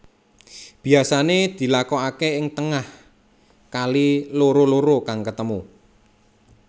Biasané dilakokaké ing tengah kali loro loro kang ketemu